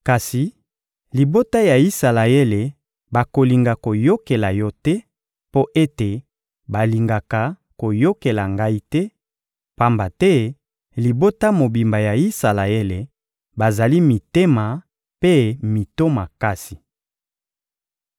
Kasi libota ya Isalaele bakolinga koyokela yo te, mpo ete balingaka koyokela Ngai te; pamba te libota mobimba ya Isalaele bazali mitema mpe mito makasi.